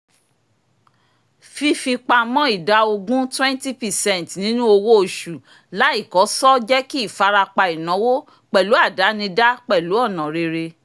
fífipamọ́ ida ogun twenty percent nínú owó oṣù láìkọ́sọ́ jẹ́ kí ìfarapa ináwó pẹ̀lú àdánidá pẹ̀lú ọ̀nà rere